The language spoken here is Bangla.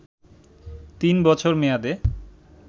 তিন বছর মেয়াদে